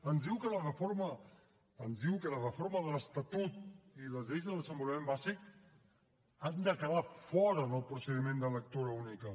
ens diu que la reforma de l’estatut i les lleis de desenvolupament bàsic han de quedar fora del procediment de lectura única